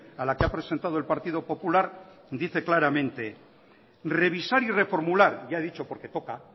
a la que ha presentado el partido popular dice claramente revisar y reformular ya ha dicho porque toca